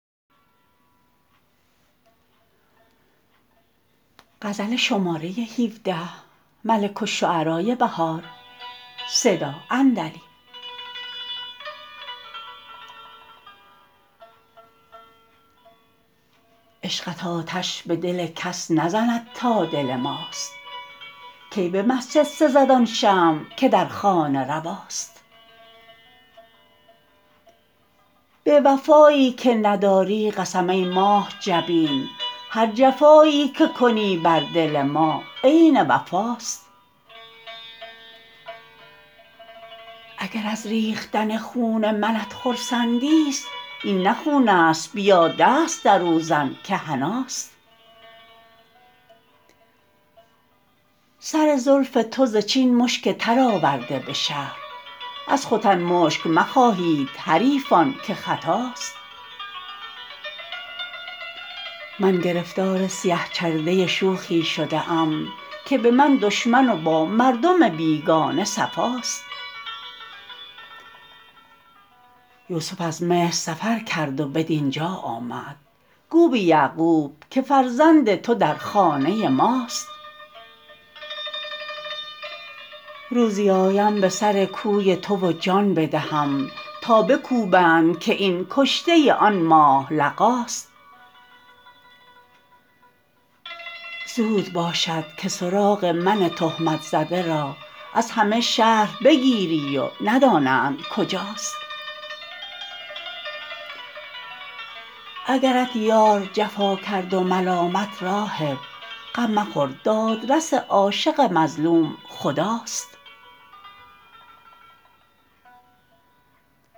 عشقت آتش به دل کس نزند تا دل ماست کی به مسجد سزد آن شمع که در خانه رواست به وفایی که نداری قسم ای ماه جبین هر جفایی که کنی بر دل ما عین وفاست اگر از ربختن خون منت خرسندی است این نه خون است بیا دست در او زن که حناست سر زلف تو ز چین مشک تر آورده به شهر از ختن مشک مخواهید حریفان که خطاست من گرفتار سیه چرده شوخی شده ام که به من دشمن و با مردم بیگانه صفاست یوسف از مصر سفر کرد و بدینجا آمد گو به یعقوب که فرزند تو در خانه ماست روزی آیم به سرکوی تو و جان بدهم تا بکوبند که این کشته آن ماه لقاست زود باشدکه سراغ من تهمت زده را از همه شهر بگیری و ندانندکجاست اگرت یار جفا کرد و ملامت راهب غم مخور دادرس عاشق مظلوم خداست